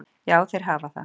Já, þeir hafa það.